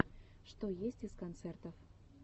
что есть из концертов